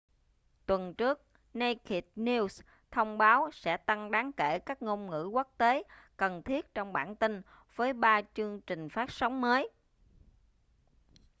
tuần trước naked news thông báo sẽ tăng đáng kể các ngôn ngữ quốc tế cần thiết trong bản tin với ba chương trình phát sóng mới